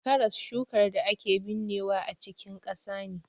Karas shukar da ake binnewa a cikin ƙasa ne.